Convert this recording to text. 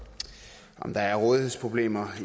der er rådighedsproblemer